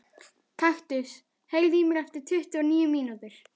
Kaktus, heyrðu í mér eftir tuttugu og níu mínútur.